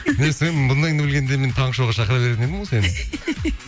не сен бұндайыңды білгенде мен таңғы шоуға шақыра беретін едім ғой сені